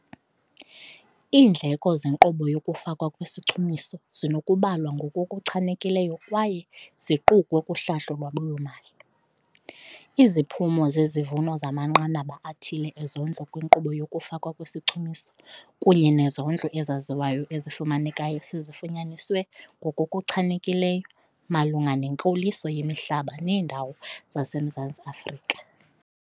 Iindleko zenkqubo yokufakwa kwesichumiso zinokubalwa ngokuchanekileyo kwaye ziqukwe kuhlahlo lwabiwo-mali. Iziphumo zezivuno zamanqanaba athile ezondlo kwinkqubo yokufakwa kwezichumiso kunye nezondlo ezaziwayo ezifumanekayo sezifunyaniswe ngokuchanekileyo malunga nenkoliso yemihlaba neendawo zaseMzantsi Afrika.